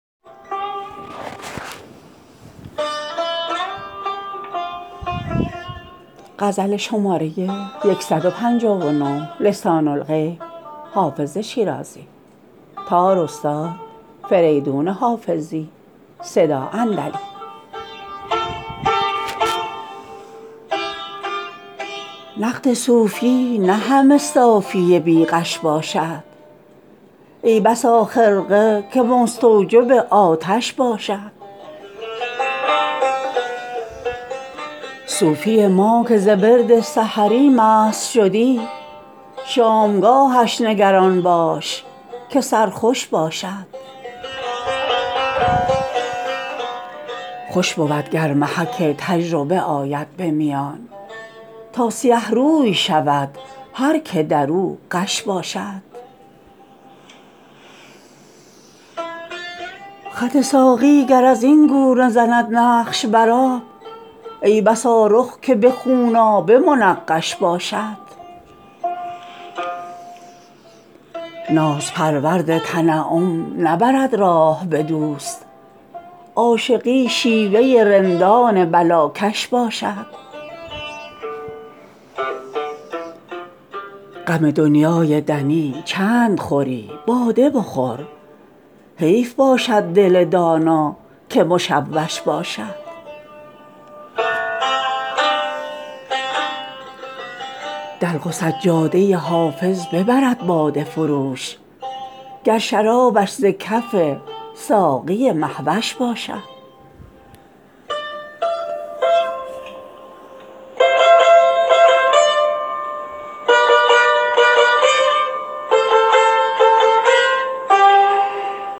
نقد صوفی نه همه صافی بی غش باشد ای بسا خرقه که مستوجب آتش باشد صوفی ما که ز ورد سحری مست شدی شامگاهش نگران باش که سرخوش باشد خوش بود گر محک تجربه آید به میان تا سیه روی شود هر که در او غش باشد خط ساقی گر از این گونه زند نقش بر آب ای بسا رخ که به خونآبه منقش باشد ناز پرورد تنعم نبرد راه به دوست عاشقی شیوه رندان بلاکش باشد غم دنیای دنی چند خوری باده بخور حیف باشد دل دانا که مشوش باشد دلق و سجاده حافظ ببرد باده فروش گر شرابش ز کف ساقی مه وش باشد